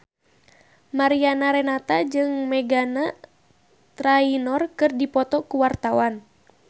Mariana Renata jeung Meghan Trainor keur dipoto ku wartawan